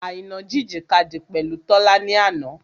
Àìná jìjìkadì pẹ̀lú Tọ́lá ni àná.